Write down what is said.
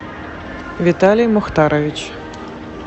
виталий мухтарович